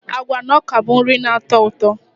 Agwa na ọka bụ nri na-atọ ụtọ.